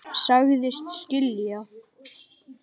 Sagðist skilja.